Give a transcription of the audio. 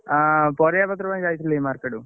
ଅଁ ପରିବାପତ୍ର ପାଇଁ ଯାଇଥିଲି market କୁ।